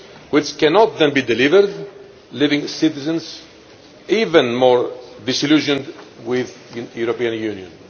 which cannot then be delivered, leaving citizens even more disillusioned with the Union.